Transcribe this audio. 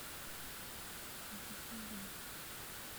дзубан